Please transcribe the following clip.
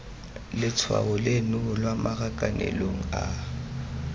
letshwaong leno lwa marakanelong a